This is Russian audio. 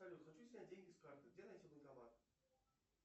салют хочу снять деньги с карты где найти банкомат